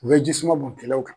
U bɛ ye jisuma bɔn kɛlɛw kan